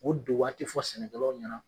O don waati fɔ sɛnɛkɛlaw ɲɛna.